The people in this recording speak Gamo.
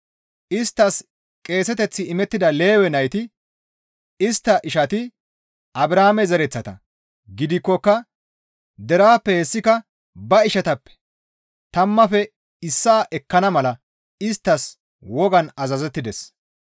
Isttas qeeseteththi imettida Lewe nayti istta ishati Abrahaame zereththata gidikkoka deraappe hessika ba ishatappe tammaafe issaa ekkana mala isttas wogan azazettides.